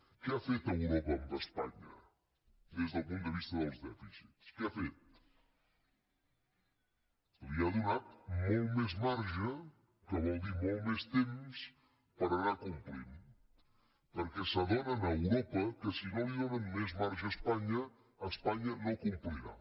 què ha fet europa amb espanya des del punt de vista dels dèficits què ha fet li ha donat molt més marge que vol dir molt més temps per anar complint perquè s’adonen a europa que si no li donen més marge a espanya espanya no complirà